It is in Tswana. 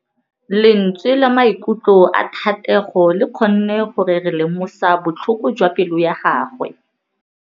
Lentswe la maikutlo a Thategô le kgonne gore re lemosa botlhoko jwa pelô ya gagwe.